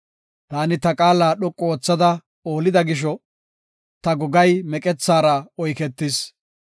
Taani ta qaala dhoqu oothada oolida gisho; ta gogay meqethaara oyketis.